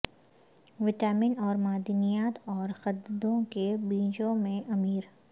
vitamin اور معدنیات اور قددو کے بیجوں میں امیر